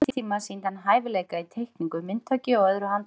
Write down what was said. Á sama tíma sýndi hann hæfileika í teikningu, myndhöggi og öðru handverki.